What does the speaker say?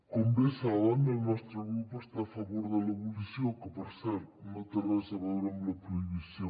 com bé saben el nostre grup està a favor de l’abolició que per cert no té res a veure amb la prohibició